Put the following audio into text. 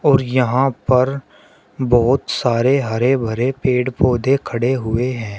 और यहां पर बहोत सारे हरे भरे पेड़ पौधे खड़े हुए हैं।